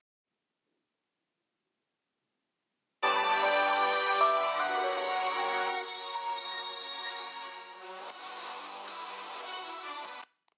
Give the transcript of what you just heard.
Og stóra skrefið verði alltaf hlaðið efablandinni biturð.